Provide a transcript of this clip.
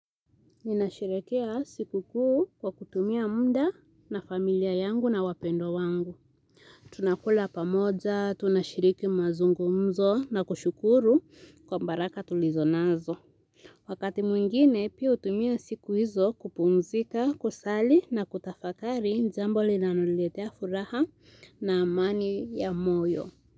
Ninasherehekea siku kuu kwa kutumia munda na familia yangu na wapendo wangu. Tunakula pamoja, tunashiriki mazungumzo na kushukuru kwa mbaraka tulizo nazo. Wakati mwingine, pia utumia siku hizo kupumzika, kusali na kutafakari njambo li nanoletea furaha na amani ya moyo.